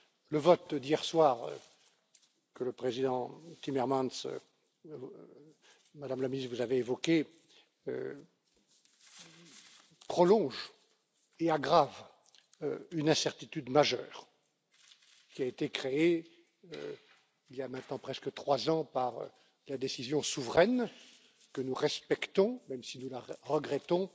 Le vote d'hier soir que le vice président Timmermans et vous même, Madame la Ministre, avez évoqué prolonge et aggrave une incertitude majeure qui a été créée il y a maintenant presque trois ans par la décision souveraine, que nous respectons, même si nous la regrettons,